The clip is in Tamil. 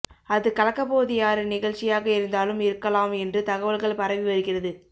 அது கலக்கப்போவது யாரு நிகழ்ச்சியாக இருந்தாலும் இருக்கலாம் என்று தகவல்கள் பரவி வருகிறது